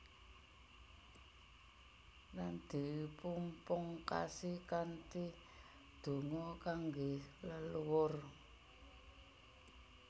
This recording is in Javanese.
Lan dipunpungkasi kanthi donga kangge leluhur